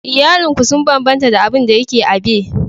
Iyalin ku sun bambanta da abin da yake a bay